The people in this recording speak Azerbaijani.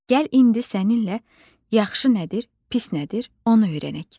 Gəl indi səninlə yaxşı nədir, pis nədir onu öyrənək.